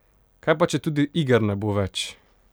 Kaj pa, če tudi iger ne bo več?